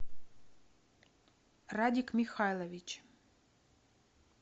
радик михайлович